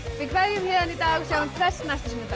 við kveðjum héðan í dag sjáumst hress næsta sunnudag